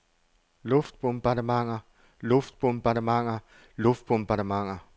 luftbombardementer luftbombardementer luftbombardementer